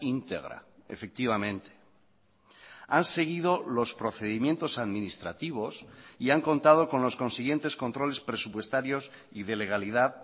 íntegra efectivamente han seguido los procedimientos administrativos y han contado con los consiguientes controles presupuestarios y de legalidad